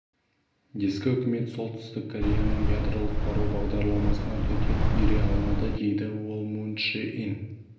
ескі үкімет солтүстік кореяның ядролық қару бағдарламасына төтеп бере алмады дейді ол мун чжэ ин